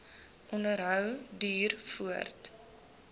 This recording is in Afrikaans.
onderhou duur voort